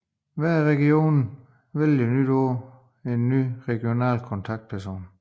Hver region vælger hvert år en ny regional kontaktperson